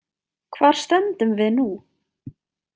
Hvar stöndum við nú?